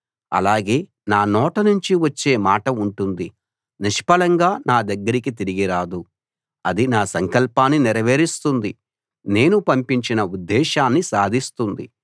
ఆలాగే నా నోట నుంచి వచ్చే మాట ఉంటుంది నిష్ఫలంగా నా దగ్గరికి తిరిగి రాదు అది నా సంకల్పాన్ని నెరవేరుస్తుంది నేను పంపించిన ఉద్దేశాన్ని సాధిస్తుంది